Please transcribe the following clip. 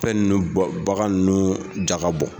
Fɛn nunnu bagan nunnu jaga bɔ.